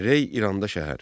Rey İranda şəhər.